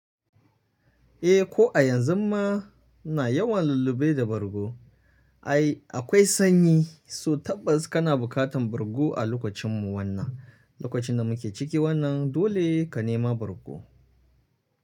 Eh ko a yanzu ma na yawan lullube da bargo. Ai akwai sanyi so tabbas kana bukatan bargo a lokacin mu wannan, lokacin da muke ciki wannan dole ka nema bargo.